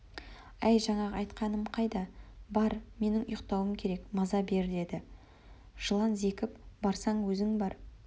әй жаңағы айтқаным қайда бар менің ұйықтауым керек маза бер деді жылан зекіп барсаң өзің бар